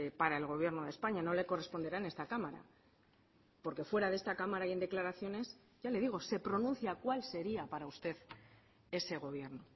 para el gobierno de españa no le corresponderá en esta cámara porque fuera de esta cámara y en declaraciones ya le digo se pronuncia cuál sería para usted ese gobierno